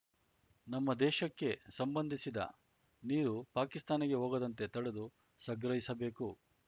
ನಮ್ಮ ದೇಶಕ್ಕೆ ಸಂಬಂಧಿಸಿದ ನೀರು ಪಾಕಿಸ್ತಾನಕ್ಕೆ ಹೋಗದಂತೆ ತಡೆದು ಸಂಗ್ರಹಿಸಬೇಕು